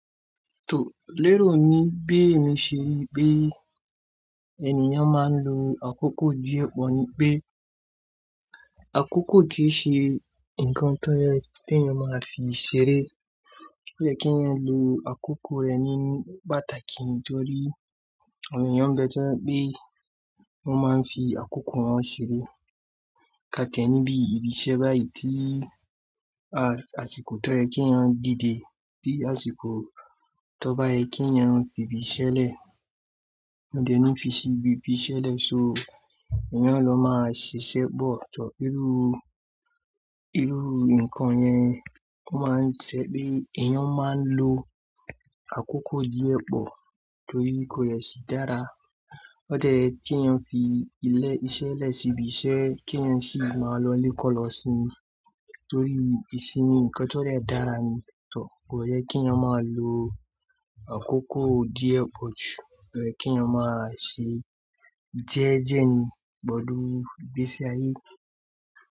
Tò lérò ni bí èmi ṣe rí bí ènìyàn máa ń lo àkókò ni pọ̀ ní pé, àkókò kì í ṣe nǹkan tó yẹ kí ènìyàn máa fi ṣeré. Ó yẹ kí èyàn lo àkókò rẹ̀ ní pàtàkì nítorí ènìyàn bẹ́ẹ̀ tẹ́jẹ̀ pé wọ́n máa ń fi àkókò wọn ṣeré. Káà ti ẹni bí ibi iṣẹ́ báyìí tí, a, àsìkò tó yẹ kí ènìyàn dìde si àsìkò tó bá yẹ kí ènìyàn fi ibi ṣẹlẹ̀. Ó dẹ nú fi ṣi ibi ibi ṣẹlẹ̀, so èèyàn ló máa ṣiṣẹ́ gbọ̀. Ọ̀tọ̀, irú, irú nǹkan yẹn ó máa ń ṣẹ ni èèyàn máa ń lo àkókò díẹ̀ pọ̀ torí kò yẹ sí dára. Ó dẹ́ ye kí èyàn fi ilé iṣẹ́ lẹ̀ síbi iṣẹ́ kí ènìyàn sì máa lọ lé kọ́ lọ sínú torí ìsinmi nǹkan tó dè dára ni. Tọọ̀, kò yẹ kí èyàn máa lo àkókò díẹ̀ pọ̀ jù. O yẹ kí ènìyàn máa ṣe jẹ́ẹ́jẹ́ ni pẹ̀lú igbèsi ayé.